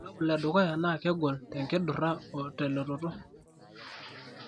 ore irbulabol le dukuya naa kegol tenkidura o telototo.